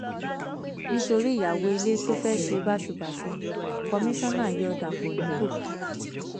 nítorí ìyàwó ilé tó fẹẹ ṣe báṣubàṣù kọmíṣánná yọ dọpọ nípò